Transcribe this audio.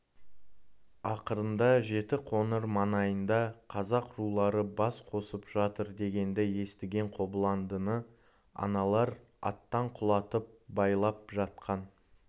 ақырында жетіқоңыр маңайында қазақ рулары бас қосып жатыр дегенді естіген қобыландыны аналар аттан құлатып байлап жатқан